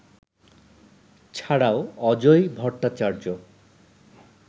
ছাড়াও অজয় ভট্টাচার্য